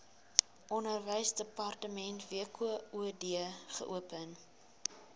onderwysdepartement wkod geopen